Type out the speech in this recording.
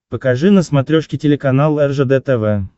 покажи на смотрешке телеканал ржд тв